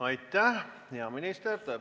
Aitäh, hea minister!